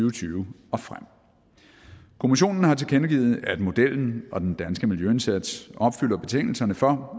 og tyve og frem kommissionen har tilkendegivet at modellen og den danske miljøindsats opfylder betingelserne for